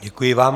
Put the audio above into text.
Děkuji vám.